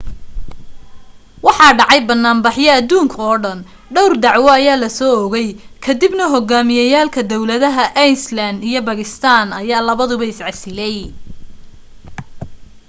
waxaa dhacay banaan baxyo aduunka oo dhan dhawr dacwo la soo oogay ka dib na hogaamiyeyaalka dawladaha iceland iyo bakistan ayaa labadaba is casilay